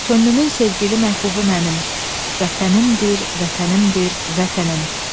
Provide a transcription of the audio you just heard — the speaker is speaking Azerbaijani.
Könlümün sevgili məhbubu mənim, vətənimdir, vətənimdir, vətənim.